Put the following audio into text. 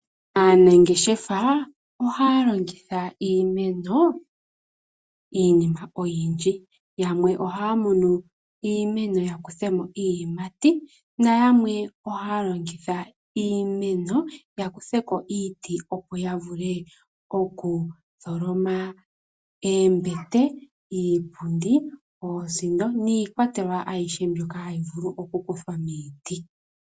Aanangeshefa ohaya longitha iimeno iinima oyindji . Yamwe ohaya munu iimeno ya kuthemo iiyimati ,noyamwe ohaya longitha iimeno ya kuthe ko iiti opo yavule oku tholoma oombete, iipundi oosindo niikwatelwa ayihe mbyoka hayi vulu okukuthwa miiti.